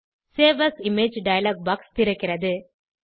save as image dialog box திறக்கிறது